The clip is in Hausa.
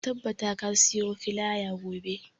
Ka tabbata ka siyo filaya gobe.